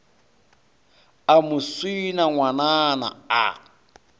a mo swina ngwanana a